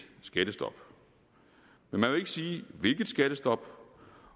skattestop men man vil ikke sige hvilket skattestop